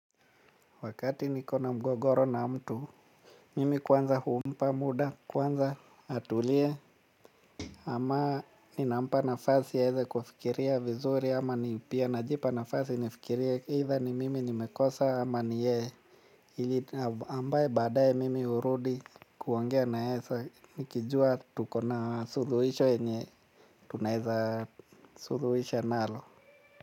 Wakati niko na mgogoro na mtu, mimi kwanza humpa muda, kwanza atulie. Ama ninampa nafasi aeze kufikiria vizuri ama ni pia najipana nafasi nafikiria either ni mimi nimekosa ama ni yeye. Ili ambaye baadaye mimi hurudi kuongea na yeye nikijua tuko na suluhisho yenye tunaeza suluhisha nalo.